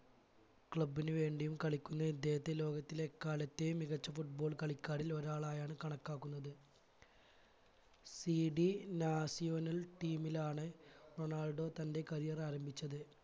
club ന് വേണ്ടിയും കളിക്കുന്ന ഇദ്ദേഹത്തെ ലോകത്തിലെ എക്കാലത്തെയും മികച്ച football കളിക്കാരിൽ ഒരാളായാണ് കണക്കാക്കുന്നത് CDnacional team ലാണ് റൊണാൾഡോ തന്റെ career ആരംഭിച്ചത്